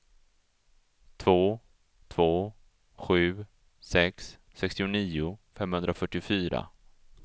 två två sju sex sextionio femhundrafyrtiofyra